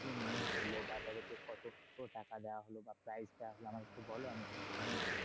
Team win করলো? বা তাদের কে কতগুলো টাকা দেওয়া হলো? বা prize দেওয়া হলো? আমাকে একটু বলো আমি একটু শুনি।